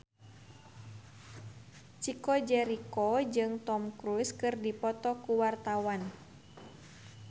Chico Jericho jeung Tom Cruise keur dipoto ku wartawan